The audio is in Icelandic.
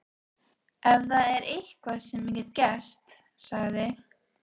Ef það er eitthvað sem ég get gert sagði